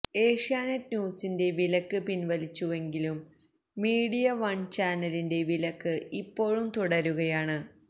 ഏഷ്യാനെറ്റ് ന്യൂസിന്റെ വിലക്ക് പിന്വലിച്ചുവെങ്കിലും മീഡിയ വണ് ചാനലിന്റെ വിലക്ക് ഇപ്പോഴും തുടരുകയാണ്